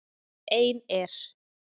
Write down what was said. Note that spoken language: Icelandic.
Ein er